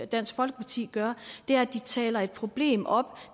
dansk folkeparti gør er at de taler et problem op